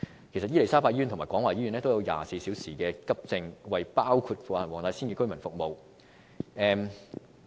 其實伊利沙伯醫院及廣華醫院均設有24小時急症室服務，為包括黃大仙區的居民服務。